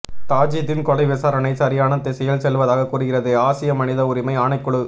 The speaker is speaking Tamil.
தாஜூதின் கொலை விசாரணை சரியான திசையில் செல்வதாக கூறுகிறது ஆசிய மனித உரிமை ஆணைக்குழு